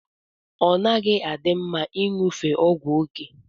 Ọnaghi adi mma inyụfe ọgwụ oke.